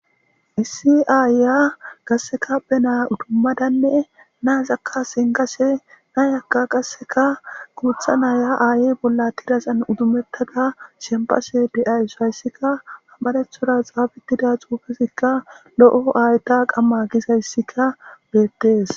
issi aayya qasseka penaa udummadanne naazakka senkashe nayakka qasseka guutha naya aayey bolla tidasan udumettada shempashe de7ayuso hayssikka hamarethoda xaabittida xuufesikka lo7o aayta qamma gisayssika beettes